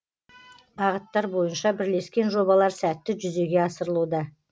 бағыттар бойынша бірлескен жобалар сәтті жүзеге асырылуда